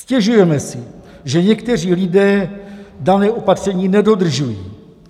Stěžujeme si, že někteří lidé daná opatření nedodržují.